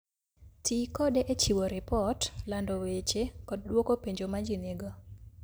Ti kode e chiwo ripot, lando weche, kod dwoko penjo ma ji nigo.